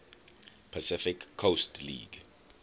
pacific coast league